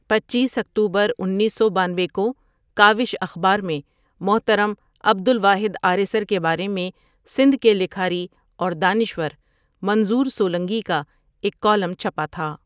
پنچیس اکتوبر انیس سو بانوی کو کاوش اخبار میں محترم عبدالواحد آریسر کے بارے میں سندھ کے لکھاری اور دانشور منظور سولنگی کا ایک کالم چھپا تھا ۔